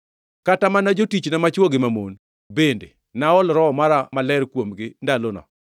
Kata mana jotichna machwo gi mamon, bende, naol Roho Maler mara kuomgi ndalono.